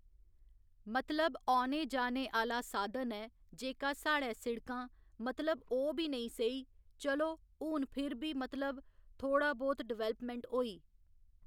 मतलब औने जाने आह्‌ला साधन ऐ जेह्का साढ़ै सिड़कां, मतलब ओह् बी नेईं स्हेई, चलो हून फिर बी मतलब, थोह्ड़ा बहुत डिवैलप्मैंट होई।